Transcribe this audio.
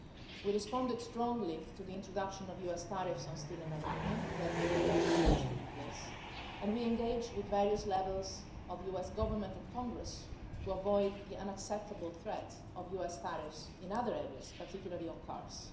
We responded strongly to the introduction of the US tariffs on steel and aluminium that, as you rightly say, are still in place, and we are engaging with various levels of the US Government and Congress to avoid the unacceptable threats of US tariffs in other areas, particularly on cars.